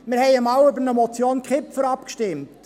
Wir haben einmal über eine Motion Kipfer abgestimmt.